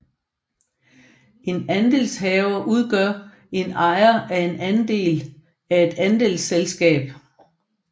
En andelshaver udgør en ejer af en andel af et andelsselskab